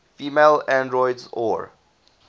female androids or